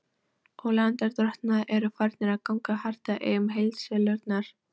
Og lánardrottnarnir eru farnir að ganga hart að eignum heildsölunnar.